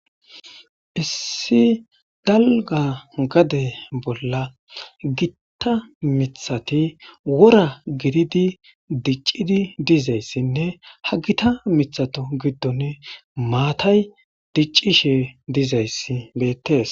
Issi dalga gade bolla gitta mithati wora gididi diccidi dizayssinne ha gita mithato giddon maatay diccishe dizayssi bettees